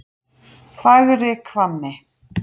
Fagrahvammi